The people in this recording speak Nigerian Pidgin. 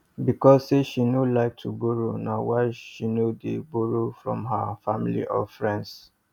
because say she no like to borrow na why she no dey borroe from her family or friends